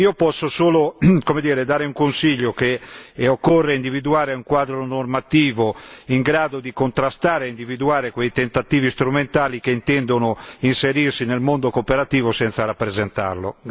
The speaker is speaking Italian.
Io posso solo dare un consiglio, ossia occorre individuare un quadro normativo in grado di contrastare e individuare quei tentativi strumentali che intendono inserirsi nel mondo cooperativo senza rappresentarlo.